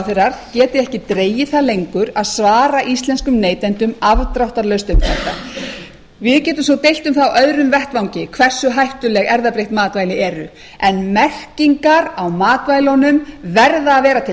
ráðherrar geti ekki dregið það lengur að svara íslenskum neytendum afdráttarlaust um þetta við getum svo deilt um það á öðrum vettvangi hversu hættuleg erfðabreytt matvæli eru en merkingar á matvælunum verða að vera til